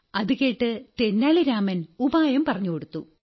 അതുകേട്ട് തെന്നാലി രാമൻ ഉപായം പറഞ്ഞുകൊടുത്തു